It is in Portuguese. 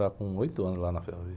Tá com oito anos lá na ferrovia.